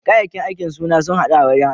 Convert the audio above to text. Kayakin aikin suna haddu da wurin aikin.